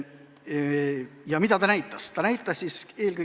Ja mida see näitas?